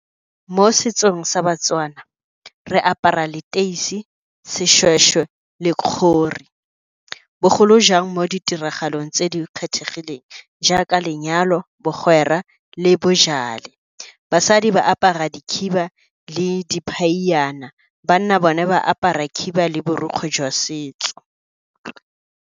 Mo setsong sa baTswana re apara leteisi, seshweshwe le . Bogolo jang mo ditiragalong tse di kgethegileng jaaka lenyalo, bogwera le . Basadi ba apara dikhiba le , banna bone ba apara khiba le borokgwe jwa setso.